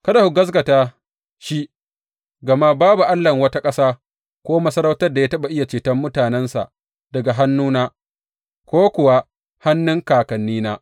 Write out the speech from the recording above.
Kada ku gaskata shi, gama babu allahn wata ƙasa ko masarautar da ya taɓa iya ceton mutanensa daga hannuna ko kuwa hannun kakannina.